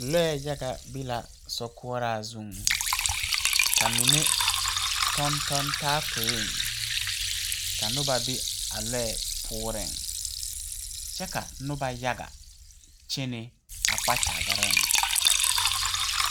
Lɔɛ yaga be la so koɔraa zuŋ ka mine tɔŋ tɔŋ taa poeŋ ka noba be a kyɛɛ puorreŋ kyɛ ka noba yaga kyɛne kpakyagareeŋ.